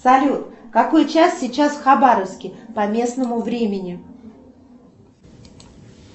салют какой час сейчас в хабаровске по местному времени